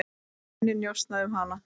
Stínu, njósna um hana.